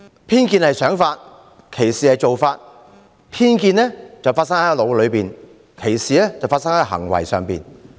偏見是想法，歧視是做法；偏見發生在腦袋，歧視表達於行為。